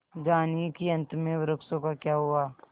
जानिए कि अंत में वृक्षों का क्या हुआ